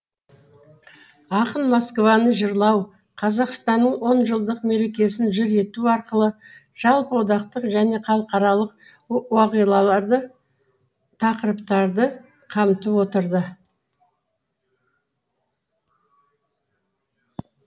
ақын москваны жырлау қазақстанның он жылдық мерекесін жыр ету арқылы жалпы одақтық және халықаралық уақиғаларды тақырыптарды қамтып отырды